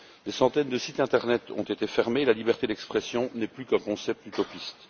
Des centaines de sites internet ont été fermés et la liberté d'expression n'est plus qu'un concept utopiste.